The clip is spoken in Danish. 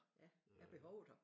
Ja er behovet her?